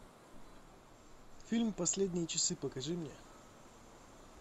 фильм последние часы покажи мне